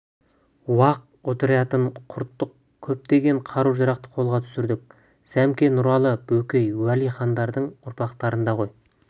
уақ отрядтарын құрттық көптеген қару-жарақты қолға түсірдік сәмеке нұралы бөкей уәли хандардың ұрпақтарында ғой